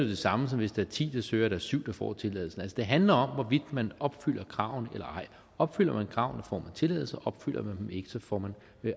det samme som hvis der er ti der søger og der er syv der får tilladelsen det handler om hvorvidt man opfylder kravene eller ej opfylder man kravene får tilladelsen og opfylder man dem ikke får man